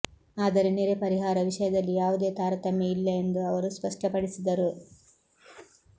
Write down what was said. ಆದರೆ ನೆರೆ ಪರಿಹಾರ ವಿಷಯದಲ್ಲಿ ಯಾವುದೇ ತಾರತಮ್ಯ ಇಲ್ಲ ಎಂದು ಅವರು ಸ್ಪಷ್ಟ ಪಡಿಸಿದರು